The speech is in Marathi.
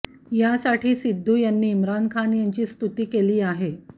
यासाठी सिद्धू यांनी इम्रान खान यांची स्तुती केली आहे